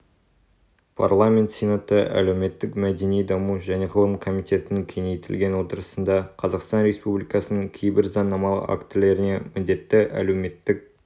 парламент сенаты әлеуметтік мәдени-даму және ғылым комитетінің кеңейтілген отырысында қазақстан республикасының кейбір заңнамалық актілеріне міндетті әлеуметтік